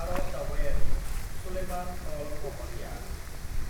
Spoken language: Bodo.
"""आरब दावबायारि सुलेमान अल महरीआ